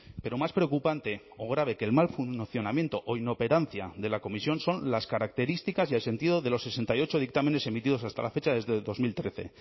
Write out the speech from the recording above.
pero más preocupante o grave que el mal funcionamiento o inoperancia de la comisión son las características y el sentido de los sesenta y ocho dictámenes emitidos hasta la fecha desde dos mil trece